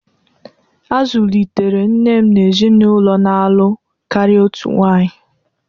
A zụlitere nne m n’ezinụlọ na-alụ karịa otu nwaanyị.